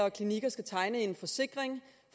og klinikker skal tegne en forsikring